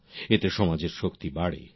এতে সমাজের শক্তি বাড়ে